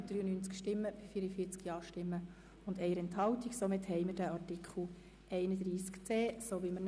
Somit haben wir den vorhin bereinigten Artikel 31c (neu) angenommen.